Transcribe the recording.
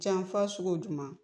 Cɛn fɔ sugu jumɛn ?